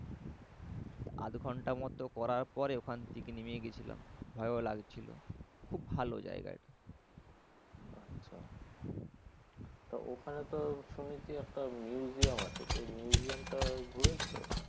য়াধ ঘণ্টা মতন করার পরে ওখান থেকে নেমে গেছিলাম। ভালো লাগছিল। খুব ভালো জায়গা। আচ্ছা। তো ওখানে তো শুনেছি একটা museum আছে। সেই museum টা ঘুরেছ?